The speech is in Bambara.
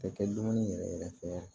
Tɛ kɛ dumuni yɛrɛ yɛrɛ fɛ